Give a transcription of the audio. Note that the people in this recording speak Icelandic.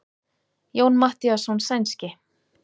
Jón Matthíasson sænski.